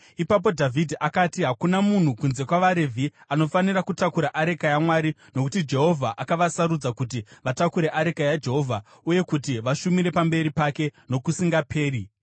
Ipapo Dhavhidhi akati, “Hakuna munhu kunze kwavaRevhi anofanira kutakura areka yaMwari, nokuti Jehovha akavasarudza kuti vatakure areka yaJehovha uye kuti vashumire pamberi pake nokusingaperi.”